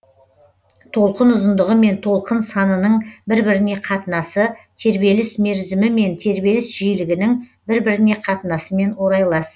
толқын ұзындығы мен толқын санының бір біріне қатынасы тербеліс мерізімі мен тербеліс жиілігінің бір біріне қатынасымен орайлас